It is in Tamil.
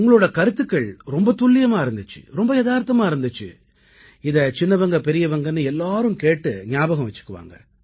உங்களோட கருத்துக்கள் ரொம்ப துல்லியமா இருந்திச்சு ரொம்ப யதார்த்தமா இருந்திச்சு இதை சிறியவங்கபெரியவங்கன்னு எல்லாரும் கேட்டு ஞாபகம் வச்சுக்குவாங்க